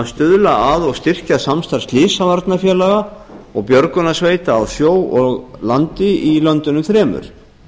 stuðla að og styrkja samstarf slysavarnafélaga og björgunarsveita á sjó og landi í löndunum þremur